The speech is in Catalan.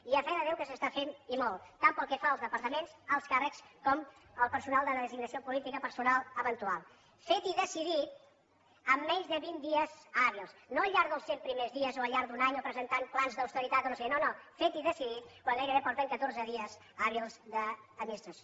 i a fe de déu que s’està fent i molt tant pel que fa als departaments alts càrrecs com al personal de designació política personal eventual fet i decidit amb menys de vint dies hàbils no al llarg dels cent primers dies o al llarg d’un any o presentant plans d’austeritat o no sé què no no fet i decidit quan gairebé porten catorze dies hàbils d’administració